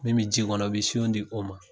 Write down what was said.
Min bɛ ji kɔnɔ i bɛ siɔn di o ma.